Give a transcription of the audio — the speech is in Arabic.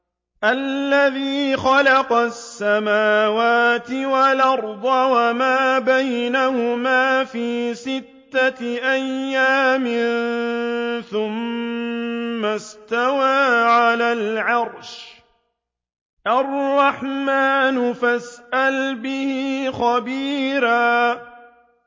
الَّذِي خَلَقَ السَّمَاوَاتِ وَالْأَرْضَ وَمَا بَيْنَهُمَا فِي سِتَّةِ أَيَّامٍ ثُمَّ اسْتَوَىٰ عَلَى الْعَرْشِ ۚ الرَّحْمَٰنُ فَاسْأَلْ بِهِ خَبِيرًا